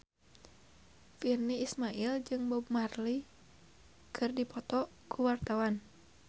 Virnie Ismail jeung Bob Marley keur dipoto ku wartawan